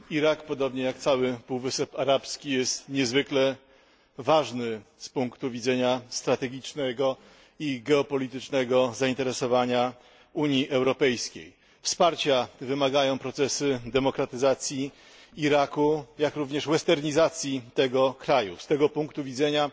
Irak, podobnie jak cały Półwysep Arabski, jest niezwykle ważny z punktu widzenia strategicznego i geopolitycznego zainteresowania Unii Europejskiej. Procesy demokratyzacji Iraku, jak również westernizacji tego kraju, wymagają wsparcia. Z tego punktu widzenia